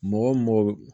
Mɔgɔ wo mɔgɔ